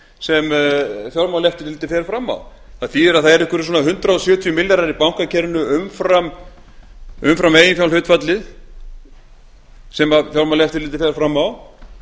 sem fjármálaeftirlitið fer fram á það þýðir að það eru einhverjir hundrað sjötíu milljarðar í bankakerfinu umfram eiginfjárhlutfallið sem fjármálaeftirlitið fer fram á